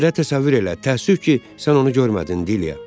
Hətta təsəvvür elə, təəssüf ki, sən onu görmədin, Dilya.